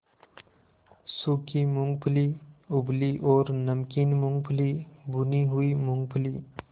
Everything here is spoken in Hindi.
सूखी मूँगफली उबली और नमकीन मूँगफली भुनी हुई मूँगफली